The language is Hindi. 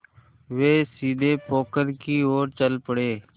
वे सीधे पोखर की ओर चल पड़े